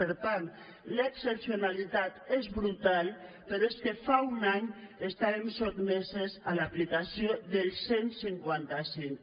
per tant l’excepcionalitat és brutal però és que fa un any estàvem sotmeses a l’aplicació del cent i cinquanta cinc